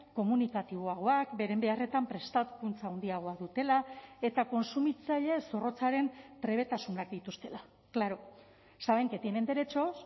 komunikatiboagoak beren beharretan prestakuntza handiagoa dutela eta kontsumitzaile zorrotzaren trebetasunak dituztela claro saben que tienen derechos